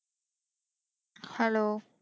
hello